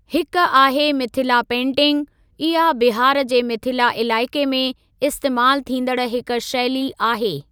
हिक आहे मिथिला पेंटिंग, इहा बिहार जे मिथिला इलाइक़े में इस्तेमालु थींदड़ हिक शैली आहे।